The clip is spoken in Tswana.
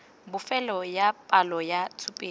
bofelo ya palo ya tshupetso